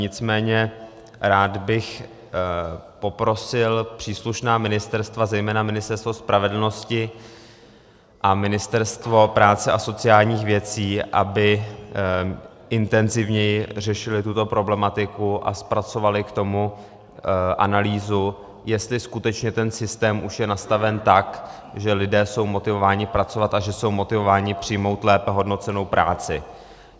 Nicméně rád bych poprosil příslušná ministerstva, zejména Ministerstvo spravedlnosti a Ministerstvo práce a sociálních věcí, aby intenzivněji řešili tuto problematiku a zpracovali k tomu analýzu, jestli skutečně ten systém už je nastaven tak, že lidé jsou motivováni pracovat a že jsou motivováni přijmout lépe hodnocenou práci.